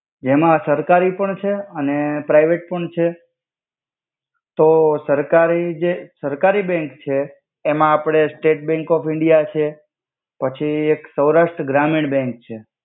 જેમા સરકારી પણ છે અને પરાઇવેટ પન છે. તો સરકારી જે સરકારી બેંન્ક છે એમા આપડે સટેટ બેંન્ક ઓફ ઇંડિયા છે. પછિ એક સાવરાસ્ટ્રા ગ્રામિણ બેન્ક છે.